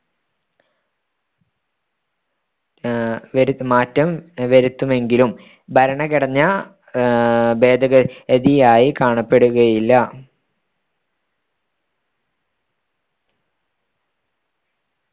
വരുത്ത് മാറ്റം വരുത്തുമെങ്കിലും ഭരണഘടനാഭേദഗതിയായി കാണപ്പെടുകയ്യില്ലാ